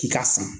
K'i ka san